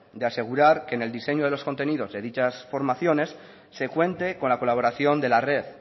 de asegurar que en el diseño de los contenidos de dichas formaciones se cuente con la colaboración de la red